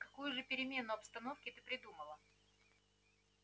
какую же перемену обстановки ты придумала